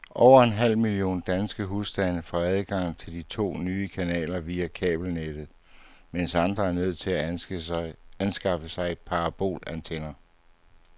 Over en halv million danske husstande får adgang til de to nye kanaler via kabelnettet, mens andre er nødt til at anskaffe sig parabolantenner.